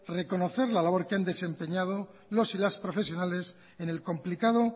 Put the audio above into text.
reconocer la labor que han desempeñado los y las profesionales en el complicado